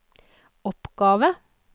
oppgave